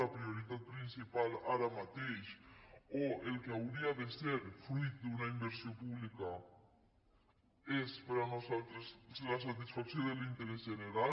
la prioritat principal ara mateix o el que hauria de ser fruit d’una inversió pública és per nosaltres la satisfacció de l’interès general